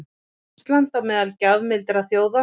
Ísland á meðal gjafmildra þjóða